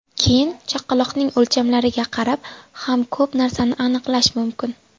Keyin chaqaloqning o‘lchamlariga qarab ham ko‘p narsani aniqlash mumkin.